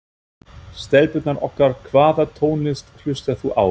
Stelpurnar okkar Hvaða tónlist hlustar þú á?